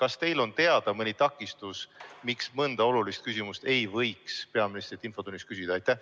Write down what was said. Kas teile on teada mõni takistus, miks mõnda olulist küsimust ei võiks peaministrilt infotunnis küsida?